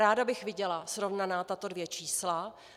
Ráda bych viděla srovnaná tato dvě čísla.